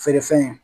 Feere fɛn